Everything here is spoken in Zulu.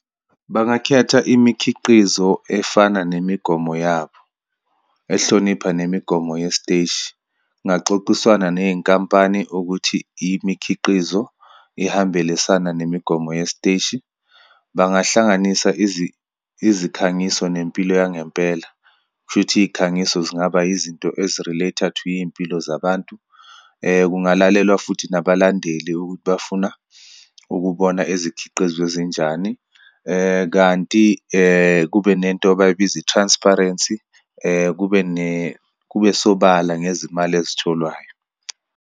Bangakhetha imikhiqizo efana nemigomo yabo, ehlonipha nemigomo yesiteshi. Ngaxoxiswana neyinkampani ukuthi imikhiqizo ihambelesana nemigomo yesiteshi. Bangahlanganisa izikhangiso nempilo yangempela, kushuthi iyikhangiso zingaba izinto ezi-relate-a to iyimpilo zabantu. Kungalalelwa futhi nabalandeli ukuthi bafuna ukubona ezikhiqizo ezinjani, kanti kube nento abayibiza i-transparency, kube kube sobala ngezimali ezitholwayo.